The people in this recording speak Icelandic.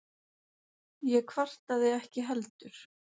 Ég kvartaði ekki heldur.